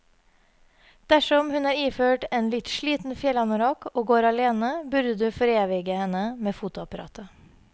Dersom hun er iført en litt sliten fjellanorakk og går alene, burde du forevige henne med fotoapparatet.